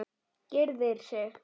Gyrðir sig.